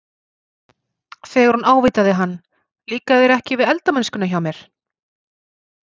Þegar hún ávítaði hann- Líkar þér ekki við eldamennskuna hjá mér?